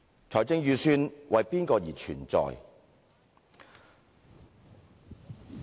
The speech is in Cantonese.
財政預算為誰而存在？